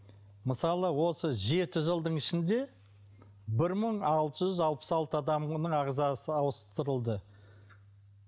мысалы осы жеті жылдың ішінде бір мың алты жүз алпыс алты адамның ағзасы ауыстырылды